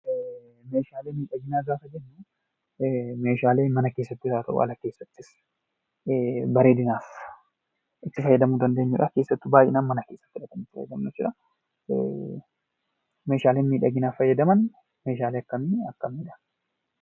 Meeshaalee miidhaginaa gaafa jennu, Meeshaalee mana keessattis haa ta'uu, ala keessatti bareedinaaf itti fayyadamuu dandeenyudha keessattuu mana keessatti. Meeshaaleen miidhaginaaf fayyadan Meeshaalee akkamii akkamiidha?